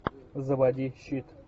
заводи щит